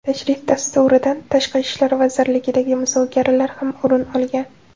Tashrif dasturidan Tashqi ishlar vazirligidagi muzokaralar ham o‘rin olgan.